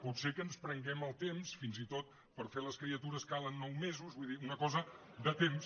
potser que ens prenguem el temps fins i tot per fer les criatures calen nou mesos vull dir una cosa de temps